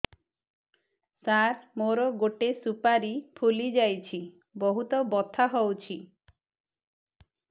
ସାର ମୋର ଗୋଟେ ସୁପାରୀ ଫୁଲିଯାଇଛି ବହୁତ ବଥା ହଉଛି